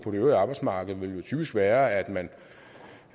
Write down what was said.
øvrige arbejdsmarked ville jo typisk være at man